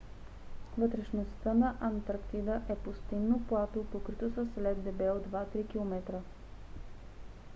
вътрешността на антарктида е пустинно плато покрито с лед дебел 2 – 3 км